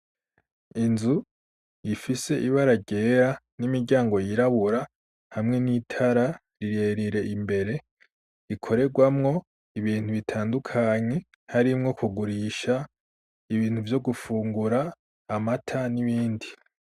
Inzu ifise ibara ryera n'imiryango yirabura hamwe n'itara rirerire imbere, ikoregwamwo ibintu bitandukanye harimwo kugurisha ibintu vyo gufungura ,amata n'ibindi.